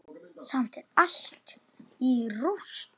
Samt er allt í rúst.